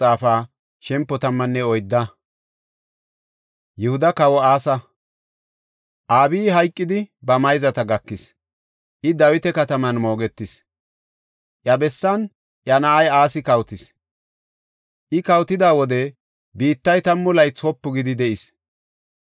Abiyi hayqidi ba mayzata gakis; I Dawita kataman moogetis. Iya bessan iya na7ay Asi kawotis. I kawotida wode biittay tammu laythi wopu gidi de7is.